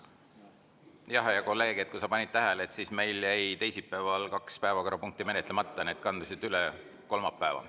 Jah, hea kolleeg, kui sa panid tähele, meil jäi teisipäeval kaks päevakorrapunkti menetlemata, need kandusid üle kolmapäeva.